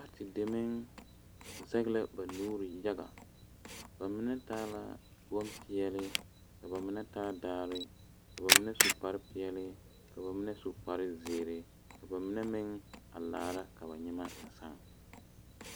Pati deme zage la ba nuure yaga ba mine taa la bonpeɛle ka ba mine taa daare ka ba mine su kpare peɛle ka ba mine su kpare ziiri ka ba mine meŋ a laara ka ba nyɛmɛ a saa.